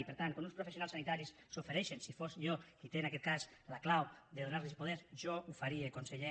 i per tant quan uns professionals sanitaris s’hi ofereixen si fos jo qui té en aquest cas la clau de donar los el poder jo ho faria conseller